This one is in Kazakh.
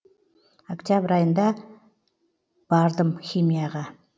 октябрь айында бардым химияға